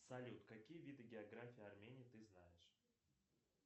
салют какие виды географии армении ты знаешь